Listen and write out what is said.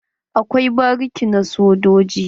Akwai bariki na sojoji